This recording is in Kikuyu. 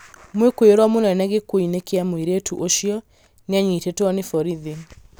Mwikuirwo mũnene gĩkuũ-inĩ kĩa mũirĩtu ũcio nĩanyiitĩtwo nĩ borithi